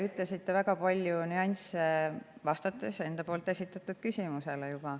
Te mainisite väga palju nüansse, vastates juba ära enda esitatud küsimusele.